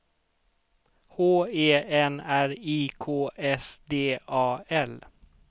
H E N R I K S D A L